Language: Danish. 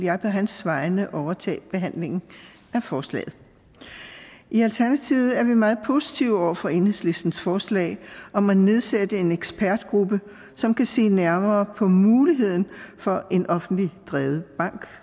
jeg på hans vegne overtage behandlingen af forslaget i alternativet er vi meget positive over for enhedslistens forslag om at nedsætte en ekspertgruppe som kan se nærmere på muligheden for en offentligt drevet bank